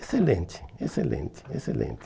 Excelente, excelente, excelente.